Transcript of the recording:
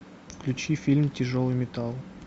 включи фильм тяжелый металл